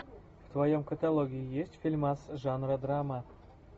в твоем каталоге есть фильмас жанра драма